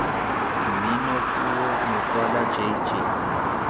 mmino puo mokwalo j j